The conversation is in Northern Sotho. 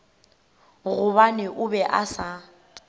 gobane o be a sa